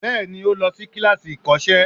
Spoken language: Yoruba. Bẹẹni, ó lọ sí kíláàsì ìkọ́sẹ́